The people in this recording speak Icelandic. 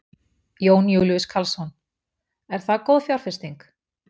Jón Júlíus Karlsson: Er það góð fjárfesting?